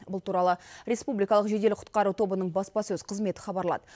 бұл туралы республикалық жедел құтқару тобының баспасөз қызметі хабарлады